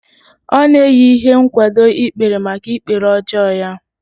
Ọ na-eyi ihe nkwado ikpere maka ikpere ọjọọ ya